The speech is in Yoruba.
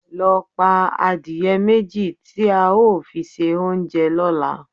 Lọ pa adìẹ méjì tí a ó fi ṣe oúnjẹ lọ́la!